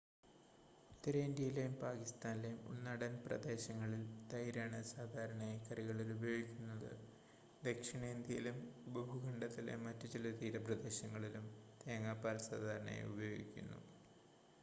ഉത്തരേന്ത്യയിലെയും പാകിസ്താനിലെയും ഉൾനാടൻ പ്രദേശങ്ങളിൽ തൈരാണ് സാധാരണയായി കറികളിൽ ഉപയോഗിക്കുന്നത് ദക്ഷിണേന്ത്യയിലും ഉപഭൂഖണ്ഡത്തിലെ മറ്റ് ചില തീരപ്രദേശങ്ങളിലും തേങ്ങാപ്പാൽ സാധാരണയായി ഉപയോഗിക്കുന്നു